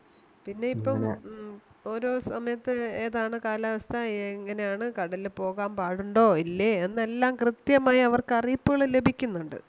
പിന്നെ ഇപ്പം ഉം ഓരോ സമയത്ത് ഏതാണ് കാലാവസ്ഥ എങ്ങനെയാണ് കടലില് പോകാൻ പാടുണ്ടോ ഇല്ലയോ എന്നെല്ലാം കൃത്യമായി അവർക്ക് അറിയിപ്പുകള് ലഭിക്കുന്നുണ്ട്